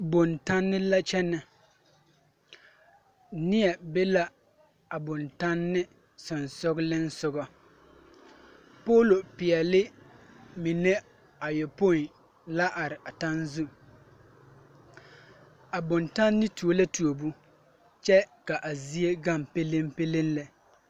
Bontanne la kyɛnɛ neɛ be la a bontanne sensogleŋ soga poolo peɛle mine ayɔpoi la are a taŋzu a bontanne tuo la tuobo kyɛ ka a zie gaŋ peleŋ peleŋ lɛ.